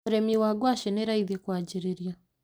Ũrĩmi wa ngwacĩ nĩ raithi kũanjĩrĩria.